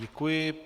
Děkuji.